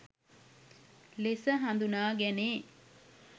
ලෙස හඳුනා ගැනේ.